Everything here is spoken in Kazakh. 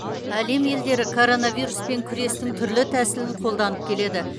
әлем елдері коронавируспен күрестің түрлі тәсілін қолданып келеді